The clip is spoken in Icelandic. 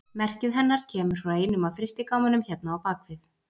Merkið hennar kemur frá einum af frystigámunum hérna á bak við.